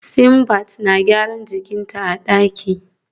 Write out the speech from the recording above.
Simbiat na gyaran jikin ta a daki